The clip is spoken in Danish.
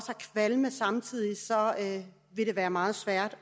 kvalme vil det være meget svært